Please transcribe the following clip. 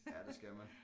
Ja det skal man